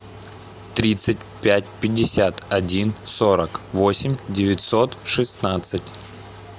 тридцать пять пятьдесят один сорок восемь девятьсот шестнадцать